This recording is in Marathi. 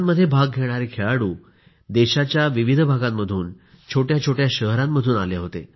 स्पर्धांमध्ये भाग घेणारे खेळाडू देशाच्या विविध भागांमधून छोट्या छोट्या शहरांमधून आले होते